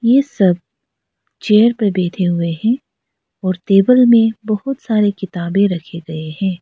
ये सब चेयर पे बैठे हुए हैं और टेबल में बहुत सारी किताबें रखे गए हैं।